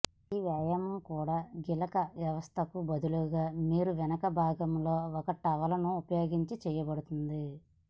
ఈ వ్యాయామం కూడా గిలక వ్యవస్థకు బదులుగా మీ వెనక భాగంలో ఒక టవల్ను ఉపయోగించి చేయబడుతుంది